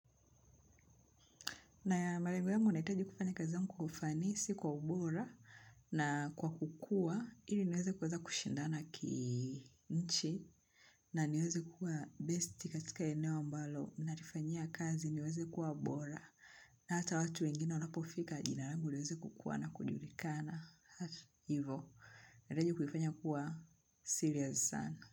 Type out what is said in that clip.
Malengo nahitaji kufanya kazi yangu kwa ufanisi kwa ubora na kukua ili niweze kushindana ki nchi na niweze kuwa besti katika eneo ambalo. Nalifanyia kazi niweze kuwa bora na hata watu wengine wanapofika jina langu liweze kukua na kujulikana. Hivyo, unahitaji kufanya kuwa serious sana.